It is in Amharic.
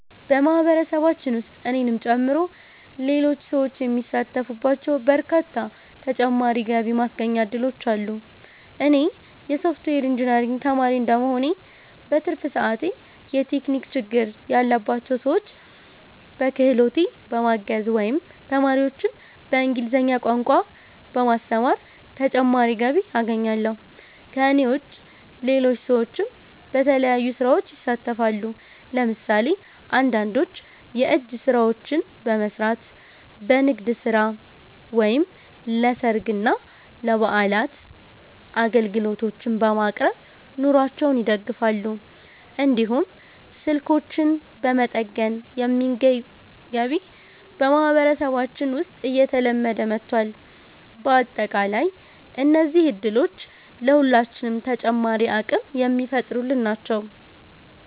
በማህበረሰባችን ውስጥ እኔንም ጨምሮ ሌሎች ሰዎች የሚሳተፉባቸው በርካታ ተጨማሪ የገቢ ማስገኛ እድሎች አሉ። እኔ የሶፍትዌር ኢንጂነሪንግ ተማሪ እንደመሆኔ፣ በትርፍ ሰዓቴ የቴክኒክ ችግር ያለባቸውን ሰዎች በክህሎቴ በማገዝ ወይም ተማሪዎችን በእንግሊዝኛ ቋንቋ በማስተማር ተጨማሪ ገቢ አገኛለሁ። ከእኔ ውጭ ሌሎች ሰዎችም በተለያዩ ስራዎች ይሳተፋሉ። ለምሳሌ አንዳንዶች የእጅ ስራዎችን በመስራት፣ በንግድ ስራ ወይም ለሰርግና ለበዓላት አገልግሎቶችን በማቅረብ ኑሯቸውን ይደግፋሉ። እንዲሁም ስልኮችን በመጠገን የሚገኝ ገቢ በማህበረሰባችን ውስጥ እየተለመደ መጥቷል። በአጠቃላይ እነዚህ እድሎች ለሁላችንም ተጨማሪ አቅም የሚፈጥሩልን ናቸው።